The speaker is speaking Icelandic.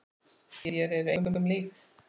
Þér eruð engum lík!